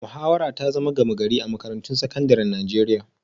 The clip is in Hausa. Muhawara ta zama gama-gari a makarantun sakandaren Najeriya